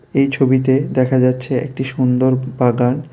এই ছবিতে দেখা যাচ্ছে একটি সুন্দর বাগান।